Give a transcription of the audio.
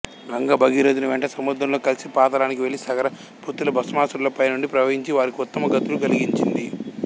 గంగ భగీరధుని వెంట సముద్రంలో కలిసి పాతాళానికి వెళ్ళి సగర పుత్రుల భస్మరాసులపైనుండి ప్రవహించి వారికి ఉత్తమ గతులు కలిగించింది